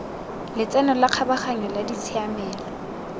letseno la kgabaganyo la ditshiamelo